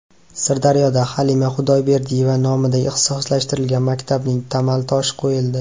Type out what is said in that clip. Sirdaryoda Halima Xudoyberdiyeva nomidagi ixtisoslashtirilgan maktabning tamal toshi qo‘yildi.